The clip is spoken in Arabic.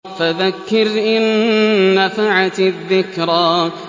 فَذَكِّرْ إِن نَّفَعَتِ الذِّكْرَىٰ